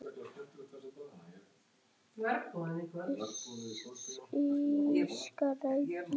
Illska réð ríkjum.